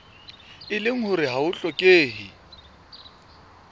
leng hore ha ho hlokehe